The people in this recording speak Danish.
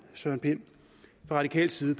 søren pind fra radikal side